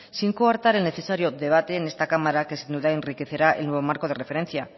sin coartar el necesario debate en esta cámara que sin duda enriquecerá el nuevo marco de referencia